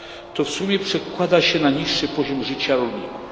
To w sumie przekłada się na niższy poziom życia rolników.